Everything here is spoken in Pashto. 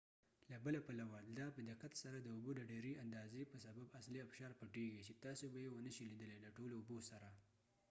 له بله پلوه دا په دقت سره د اوبو د ډیری اندازی په سبب اصلی ابشار پټیږي چې تاسی به یې و نه شي لیدلی د ټولو اوبوسره